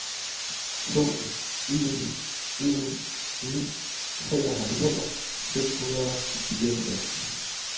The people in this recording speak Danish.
to en en ni treoghalvfems seks hundrede og fireogtres